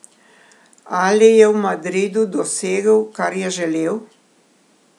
Ali je v Madridu dosegel, kar je želel?